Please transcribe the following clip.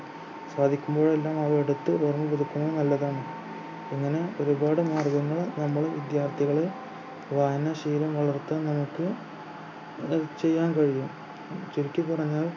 സാധിക്കുമ്പോഴെല്ലാം അവയുടെഅടുത്ത് നല്ലതാണ് അങ്ങനെ ഒരുപാടു മാർഗങ്ങൾ നമ്മൾ വിദ്യാർഥികളെ വായനാശീലം വളർത്തുന്ന തരത്തിൽ ആഹ് ചെയ്യാൻ കഴിയും ചുരുക്കി പറഞ്ഞാൽ